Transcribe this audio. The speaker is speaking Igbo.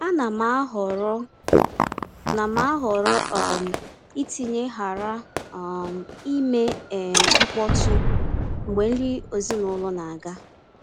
A na m ahọrọ na m ahọrọ um itinye “ghara um ime um mkpọtụ” mgbe nri ezinụlọ na-aga.